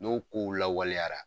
N'o kow lawaleyara